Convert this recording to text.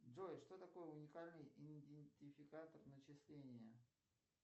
джой что такое уникальный идентификатор начисления